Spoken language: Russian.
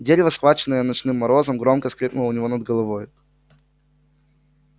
дерево схваченное ночным морозом громко скрипнуло у него над головой